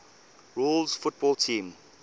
rules football teams